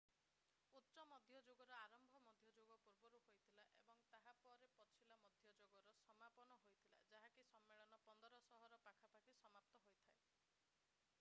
ଉଚ୍ଚ ମଧ୍ୟଯୁଗର ଆରମ୍ଭ ମଧ୍ୟଯୁଗ ପୂର୍ବରୁ ହୋଇଥିଲା ଏବଂ ତାହାପରେ ପିଛିଲା ମଧ୍ୟଯୁଗର ସମାପନ ହୋଇଥିଲା ଯାହାକି ସମ୍ମେଳନ 1500 ର ପାଖାପାଖି ରେ ସମାପ୍ତ ହୋଇଥାଏ